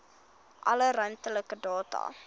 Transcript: alle ruimtelike data